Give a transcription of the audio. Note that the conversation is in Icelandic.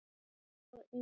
Og í